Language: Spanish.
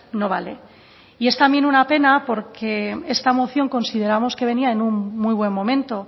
no vale y es también una pena porque esta moción consideramos que venía en un muy buen momento